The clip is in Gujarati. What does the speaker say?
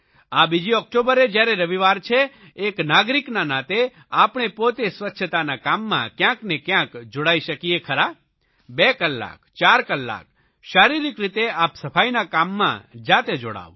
આ બીજી ઓકટોબરે જયારે રવિવાર છે એક નાગરિકના નાતે આપણે પોતે સ્વચ્છતાના કામમાં કયાંક ને કયાંક જોડાઇ શકીએ ખરા 2 કલાક 4 કલાક શારીરિક રીતે આપ સફાઇના કામમાં જાતે જોડાવ